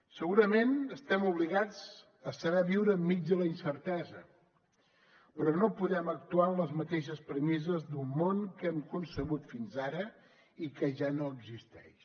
segurament estem obligats a saber viure enmig de la incertesa però no podem actuar amb les mateixes premisses d’un món que hem concebut fins ara i que ja no existeix